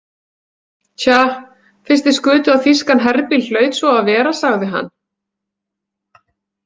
Tja, fyrst þið skutuð á þýskan herbíl hlaut svo að vera, sagði hann.